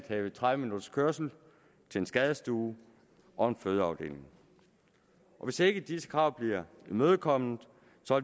have tredive minutters kørsel til en skadestue og en fødeafdeling hvis ikke disse krav bliver imødekommet